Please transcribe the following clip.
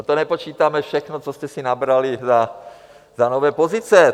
A to nepočítáme všechno, co jste si nabrali za nové pozice.